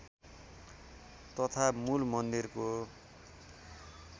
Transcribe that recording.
तथा मूल मन्दिरको